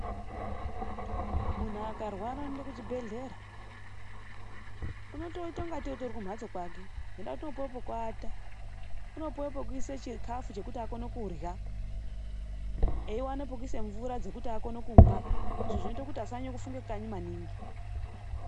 Muntu akarwara, unoende kuchibhedhlera. Unotoite kungateyi utori kumhatso kwake ngendaa yekuti unopuwe pokuise chikafu chekuti akone kurha. Eiwana pekuise mvura dzekumwa. Izvi zvinoite kuti asanyanye kufunge kanyi maningi.